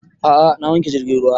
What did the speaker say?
A'a na wanke jirgin ruwa